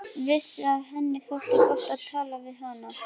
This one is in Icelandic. Vissi að henni þótti gott að tala við hana.